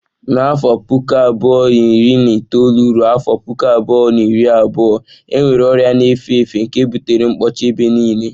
Na afọ 2019/2020 enwere ọrịa na-efe efe nke butere mkpọchi ebe nile.